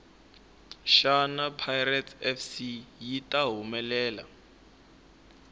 shana pirates fc yita hhumelela